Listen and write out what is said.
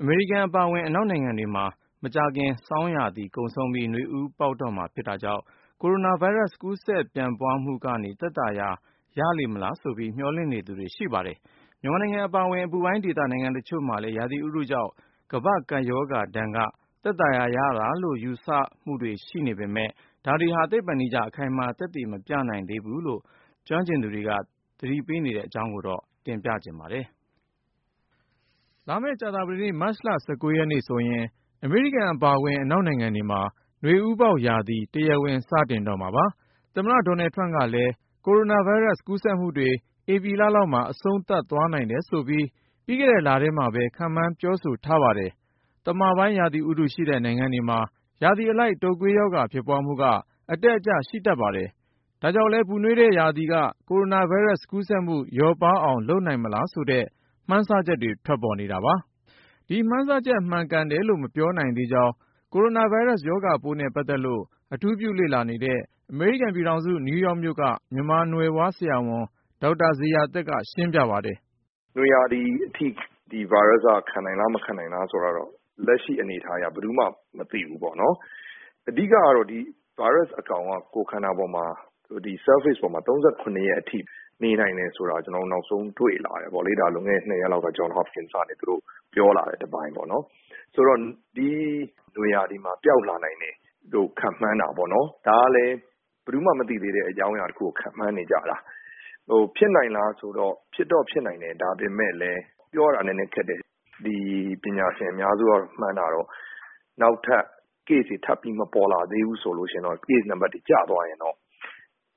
အမေရိကန် အပါအဝင် အနောက်နိုင်ငံတွေမှာ မကြာခင် ဆောင်းရာသီကုန်ဆုံးပြီး နွေဦးပေါက်တော့မှာ ဖြစ်တာကြောင့် ကိုရိုနာဗိုင်းရပ်စ် ကူးစက်ပြန့်ပွားမှုကနေ သက်သာရာရလေမလားဆိုပြီး မျှော်လင့်နေသူတွေ ရှိပါတယ်။ မြန်မာနိုင်ငံ အပါအဝင် အပူပိုင်းဒေသ နိုင်ငံတချို့မှာလည်း ရာသီဥတုကြောင့် ကမ္ဘာ့ကပ်ရောဂါဒဏ်က သက်သာရာရတာလို့ ယူဆချက်တွေ ရှိနေပေမယ့် ဒါတွေဟာ သိပ္ပံနည်းကျ အခိုင်အမာ သက်သေမပြနိုင်သေးဘူးလို့ ကျွမ်းကျင်သူတွေက သတိပေးနေတဲ့အကြောင်း ကိုဉာဏ်ဝင်းအောင်က ပြောပြမှာ ဖြစ်ပါတယ်။ လာမယ့် ကြာသပတေး မတ်လ ၁၉ ရက်နေ့ဆိုရင် အမေရိကန် အပါအဝင် အနောက်နိုင်ငံတွေမှာ နွေဦးပေါက်ရာသီ တရားဝင် စတင်တော့မှာပါ။ သမ္မတ Donald Trump ကလည်း ကိုရိုနာဗိုင်းရပ်စ် ကူးစက်မှုတွေ ဧပြီလလောက်မှာ အဆုံးသတ်သွားနိုင်တယ်ဆိုပြီး ပြီးခဲ့တဲ့လထဲမှာပဲ ခန့်မှန်း ပြောဆိုထားပါတယ်။ သမပိုင်း ရာသီဥတုရှိတဲ့ နိုင်ငံတွေမှာ ရာသီအလိုက် တုပ်ကွေးရောဂါ ဖြစ်ပွားမှုက အတက်အကျ ရှိတတ်ပါတယ်။ ဒါ့ကြောင့်လည်း ပူနွေးတဲ့ရာသီက ကိုရိုနာဗိုင်းရပ်စ် ကူးစက်မှု လျော့ပါးအောင် လုပ်နိုင်မလားဆိုတဲ့ မှန်းဆချက်တွေ ထွက်ပေါ်နေတာပါ။ ဒီမှန်းဆချက် မှန်ကန်တယ်လို့ မပြောနိုင်သေးကြောင်း ကိုရိုနာဗိုင်းရပ်စ် ရောဂါပိုးနဲ့ ပတ်သက်လို့ အထူးပြုလေ့လာနေတဲ့ အမေရိကန်ပြည်ထောင်စု နယူးယောက်မြို့က မြန်မာနွယ်ဖွား ဆရာဝန် ဒေါက်တာဇေယျာသက်က ရှင်းပြပါတယ်။ “နွေရာသီအထိ ဒီဗိုင်းရပ်စ်က ခံနိုင်သလား၊ မခံနိုင်ဘူးလား ဆိုတာကတော့ လက်ရှိအနေအထားအရ ဘယ်သူမှ မသိဘူးပေါ့နော်။ အဓိကကတော့ ဒီဗိုင်းရပ်စ်အကောင်က ကိုယ်ခန္ဓာပေါ်မှာ၊ ဒီ Surface ပေါ်မှာ ၃၇ ရက်အထိ နေနိုင်တယ်ဆိုတာ ကျနော်တို့ နောက်ဆုံး တွေ့လာကြတယ်ပေါ့လေ။ ဒါ လွန်ခဲ့တဲ့ နှစ်ရက်လောက်က Johns Hopkins တက္ကသိုလ်ကနေ သူတို့ပြောလာတဲ့ တပိုင်းပေါ့နော်။ ဆိုတော့ ဒီနွေရာသီမှာ ပျောက်လာနိုင်တယ်လို့ ခန့်မှန်းကြတာပေါ့၊ ဒါကလည်း ဘယ်သူမှ မသိသေးတဲ့ အကြောင်းအရာတခုကို ခန့်မှန်းနေကြတာ။ ဟို ဖြစ်နိုင်လားဆိုတော့ ဖြစ်တော့ဖြစ်နိုင်တယ်၊ ဒါပေမယ့်လည်း ပြောရတာ နည်းနည်းခက်တယ်။ ဒီ ပညာရှင်အများစုက မှန်းတာကတော့ နောက်ထပ် ကူးစက်တဲ့ case တွေ ထပ်မပေါ်လာဘူးဆိုရင်တော့၊ case အရေအတွက် ကျသွားရင်တော့